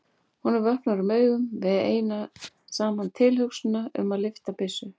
Honum vöknar um augu við eina saman tilhugsunina um að lyfta byssu.